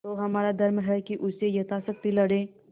तो हमारा धर्म है कि उससे यथाशक्ति लड़ें